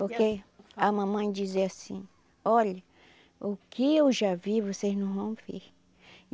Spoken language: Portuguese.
Porque a mamãe dizia assim, olha, o que eu já vi, vocês não vão ver.